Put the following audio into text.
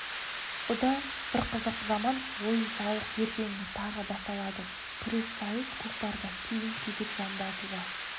бұ да бір қызық заман ойын-сауық ертеңіне тағы басталады күрес сайыс көкпардан кейін кезек жамбы атуға